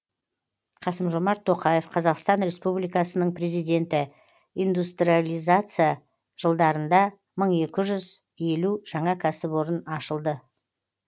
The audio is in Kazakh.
қасым жомарт тоқаев қазақстан республикасының президенті индустрализация жылдарында мың екі жүз елу жаңа кәсіпорын ашылды